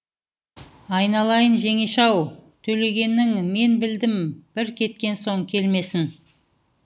айналайын жеңеше ау төлегеннің мен білдім бір кеткен соң келмесін